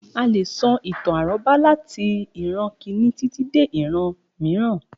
A leè sọ ìtàn àrọ́bá latí ìran Kínní títí dé ìran mìíràn.